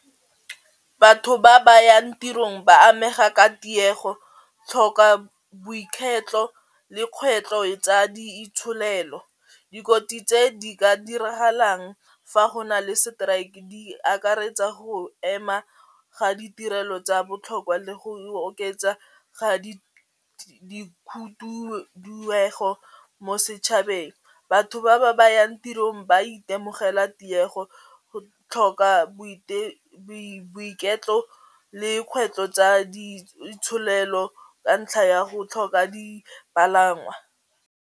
Batho ba ba yang tirong ba amega ka tiego tlhoka le kgwetlho e tsa di itsholelo. Dikotsi tse di ka diragalang fa go na le strike di akaretsa go ema ga ditirelo tsa botlhokwa le go oketsa ga mo setšhabeng, batho ba ba ba yang tirong ba itemogela tiego go tlhoka boiketlo le kgwetlho tsa di itsholelo ka ntlha ya go tlhoka dipalangwa.